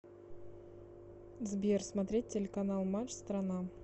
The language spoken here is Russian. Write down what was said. сбер смотреть телеканал матч страна